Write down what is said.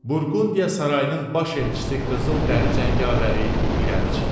Burqundiya sarayının baş elçisi Qızıl dəri Cəngavəri irəli çıxdı.